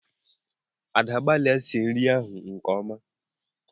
Ada! gbalịa sie nri ahụ nke ọma!